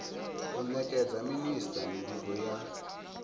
u nekedza minisita mivhigo ya